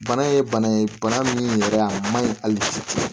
Bana ye bana ye bana min yɛrɛ a man ɲi hali bi